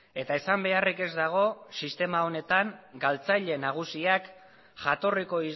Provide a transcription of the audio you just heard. eta esan beharrik ez dago sistema honetan galtzaile nagusiak jatorriko